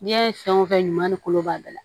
N'i y'a ye fɛn o fɛn ɲuman ni kolo b'a bɛɛ la